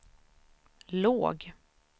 låg